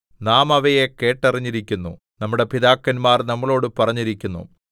നാം അവയെ കേട്ടറിഞ്ഞിരിക്കുന്നു നമ്മുടെ പിതാക്കന്മാർ നമ്മളോട് പറഞ്ഞിരിക്കുന്നു